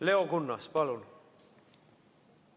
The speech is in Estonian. Leo Kunnas, palun!